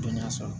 Dɔnniya sɔrɔ